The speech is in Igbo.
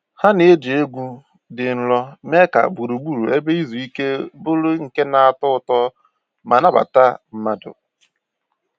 Ha na-eji egwu dị nro mee ka gburugburu ebe izu ike bụrụ nke na-atọ ụtọ ma nabata mmadụ